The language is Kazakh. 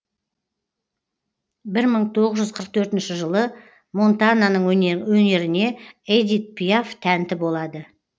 бір мың тоғыз жүз қырық төртінші жылы монтананың өнеріне эдит пиаф тәнті болады